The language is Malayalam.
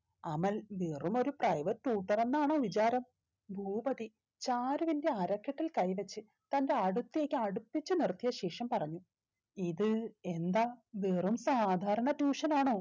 അമൽ വെറും ഒരു private tutor എന്നാണോ വിചാരം ഭൂപതി ചാരുവിന്റെ അരക്കെട്ടിൽ കൈ വെച്ച് തന്റെ അടുത്തേക്ക് അടുപ്പിച്ചു നിർത്തിയ ശേഷം പറഞ്ഞു ഇത് എന്താ വെറും സാധാരണ tuition ആണോ